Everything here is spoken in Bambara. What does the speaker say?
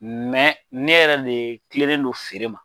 Mɛ ne yɛrɛ de kilelen don feere ma